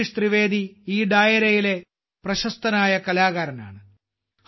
ജഗദീഷ് ത്രിവേദി ഈ ഡായരയിലെ പ്രശസ്തനായ കലാകാരനാണ്